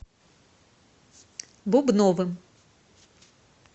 бубновым